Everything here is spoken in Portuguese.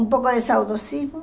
Um pouco de saudosismo?